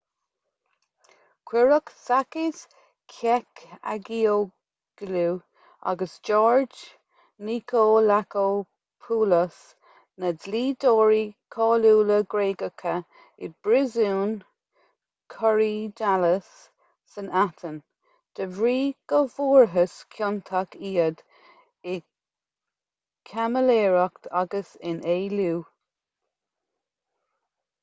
cuireadh sakis kechagioglou agus george nikolakopoulos na dlíodóirí cáiliúla gréagacha i bpríosún korydallus san aithin de bhrí go bhfuarthas ciontach iad i gcaimiléireacht agus in éilliú